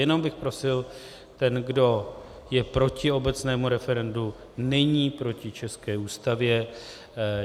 Jenom bych prosil, ten, kdo je proti obecnému referendu, není proti české Ústavě.